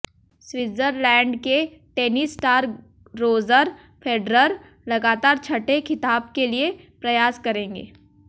Switzerland के tennis star Roger Federer लगातार छठे खिताब के लिए प्रयास करेंगे